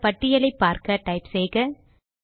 இந்த பட்டியலை பார்க்க டைப் செய்க